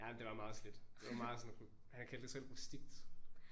Jamen det var meget slidt det var meget sådan han kaldte det selv rustikt